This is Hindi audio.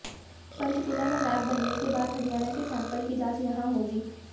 पंचकूला में लैब बनने के बाद हरियाणा के सैंपल की जांच यहां होगी